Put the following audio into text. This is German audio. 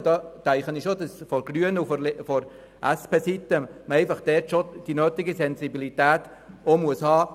Ich denke, dass man von grüner Seite und vonseiten der SP über die nötige Sensibilität verfügen sollte.